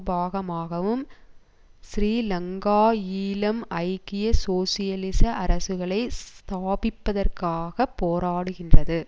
பாகமாகவும் ஸ்ரீலங்காஈழம் ஐக்கிய சோசியலிசக் அரசுகளை ஸ்தாபிப்பதற்காக போராடுகின்றது